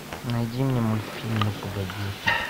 найди мне мультфильм ну погоди